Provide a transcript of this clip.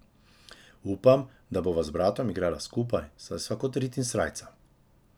Upam, da bova z bratom igrala skupaj, saj sva kot rit in srajca.